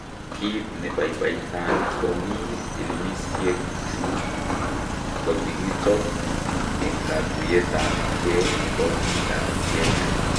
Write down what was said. Kiit nebaibaitan ko ni pilimisyeek chu kokikichop en katuyeetab kee nebo biikab Kenya